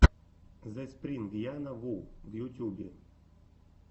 зэспрингяна ву в ютюбе